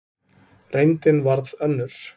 Reyndin varð önnur.